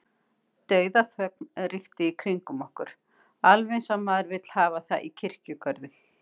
Dauðaþögn ríkti í kringum okkur- alveg eins og maður vill hafa það í kirkjugörðum.